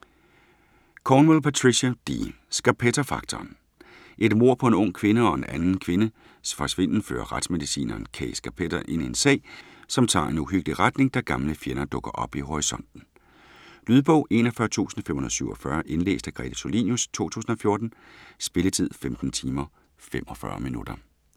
Cornwell, Patricia D.: Scarpetta-faktoren Et mord på en ung kvinde og en anden kvindes forsvinden fører retsmedicineren Kay Scarpetta ind i en sag, som tager en uhyggelig retning da gamle fjender dukker op i horisonten. Lydbog 41547 Indlæst af Grete Tulinius, 2014. Spilletid: 15 timer, 45 minutter.